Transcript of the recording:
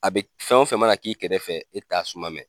A be fɛn o fɛn mana k'i kɛrɛfɛ e t'a suma mɛ